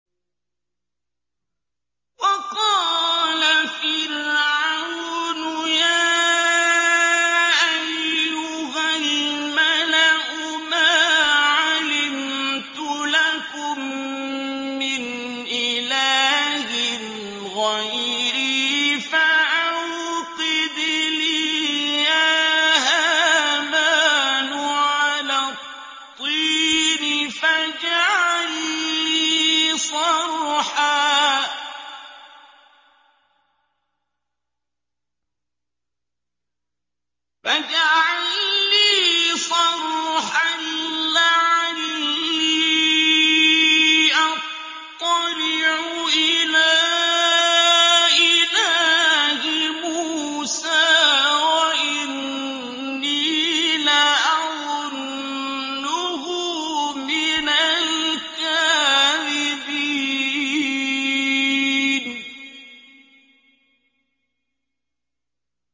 وَقَالَ فِرْعَوْنُ يَا أَيُّهَا الْمَلَأُ مَا عَلِمْتُ لَكُم مِّنْ إِلَٰهٍ غَيْرِي فَأَوْقِدْ لِي يَا هَامَانُ عَلَى الطِّينِ فَاجْعَل لِّي صَرْحًا لَّعَلِّي أَطَّلِعُ إِلَىٰ إِلَٰهِ مُوسَىٰ وَإِنِّي لَأَظُنُّهُ مِنَ الْكَاذِبِينَ